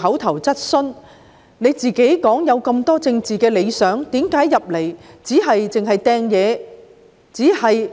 他自己有很多政治理想，但為何加入議會後，只是沉迷於擲東西、